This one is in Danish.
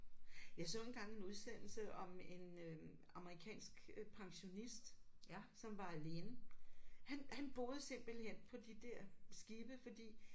Jeg så engang en udsendelse om en amerikansk pensionist som var alene. Han han boede simpelthen på de der skibe fordi